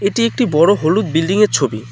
এটি একটি বড়ো হলুদ বিল্ডিং -য়ের ছবি।